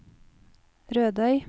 Rødøy